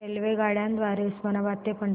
रेल्वेगाड्यां द्वारे उस्मानाबाद ते पंढरपूर